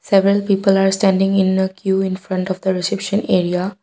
Several people are standing in a que infront of the reception area.